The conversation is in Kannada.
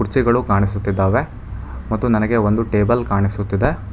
ಗಳು ಕಾಣಿಸುತ್ತಿದ್ದಾವೆ ಮತ್ತು ನನಗೆ ಒಂದು ಟೇಬಲ್ ಕಾಣಿಸುತ್ತದೆ.